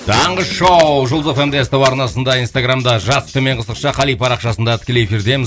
таңғы шоу жұлдыз эф эм де ств арнасында инстаграмда жас төменгі сызықша қали парақшасында тікелей эфирдеміз